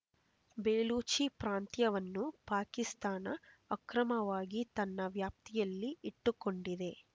ಬೆಲೂಚಿ ಪ್ರಾಂತ್ಯವನ್ನು ಪಾಕಿಸ್ತಾನ ಅಕ್ರಮವಾಗಿ ತನ್ನ ವ್ಯಾಪ್ತಿಯಲ್ಲಿ ಇಟ್ಟುಕೊಂಡಿದೆ